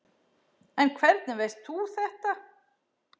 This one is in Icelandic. En hvernig veist þú þetta?